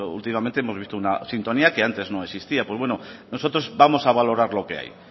últimamente hemos visto una sintonía que antes no existía bueno pues nosotros vamos a valorar lo que hay